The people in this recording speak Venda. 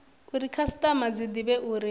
uri khasitama dzi divhe uri